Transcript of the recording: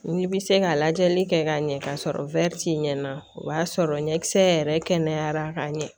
N'i bɛ se ka lajɛli kɛ ka ɲɛ k'a sɔrɔ ɲɛna o b'a sɔrɔ ɲɛkisɛ yɛrɛ kɛnɛyara ka ɲɛ